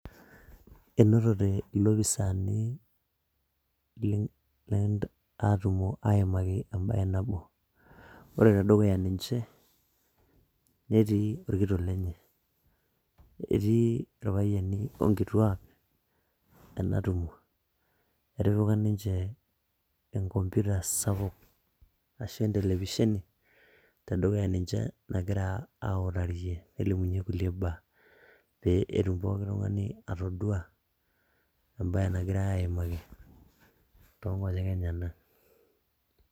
Enotote ilopisaani ii ee atumo aimaki embaye nabo, ore te dukuya ninje netii orkitok lenye, etii ipayiani o nkituak ena tumo. Etipika ninje enkomputa sapuk ashu entelevisheni te dukuya ninje egira autarie nelimunye kulie baa pee etum pooki tung'ani atodua embaye nagirai aimaki too nkonyek enyenak.